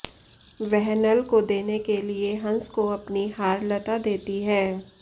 वह नल को देने के लिए हंस को अपनी हारलता देती है